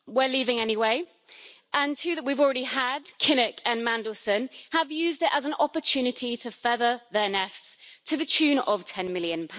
We're leaving anyway, and two that we've already had Kinnock and Mandelson have used it as an opportunity to feather their nests to the tune of GBP 10 million.